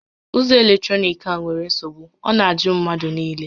Ụzọ eletrọnịkị a nwèrè nsogbu, ọ na ajụ mmadụ niile